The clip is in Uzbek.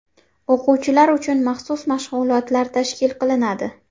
O‘quvchilar uchun maxsus mashg‘ulotlar tashkil qilinadi.